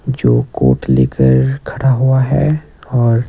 जो कोट लेकर खड़ा हुआ है और--